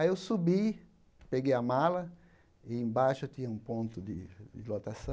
Aí eu subi, peguei a mala e embaixo tinha um ponto de de lotação.